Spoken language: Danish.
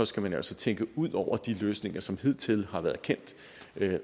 skal man altså tænke ud over de løsninger som hidtil har været kendt